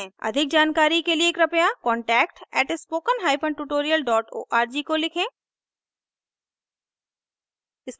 अधिक जानकारी के लिए कृपया contact @spokentutorial org को लिखें